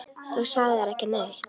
Þú sagðir ekki neitt.